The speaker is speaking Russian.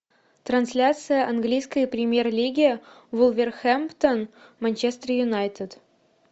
трансляция английской премьер лиги вулверхэмптон манчестер юнайтед